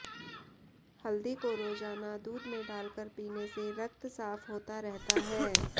हल्दी को रोजाना दूध में डालकर पीने से रक्त साफ होता रहता है